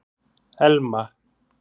Elma